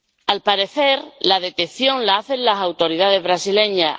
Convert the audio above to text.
Al parecer, la detección la hacen las autoridades brasileñas.